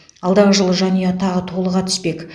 алдағы жылы жанұя тағы толыға түспек